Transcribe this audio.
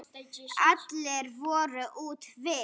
Allir voru úti við.